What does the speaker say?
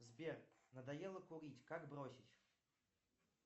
сбер надоело курить как бросить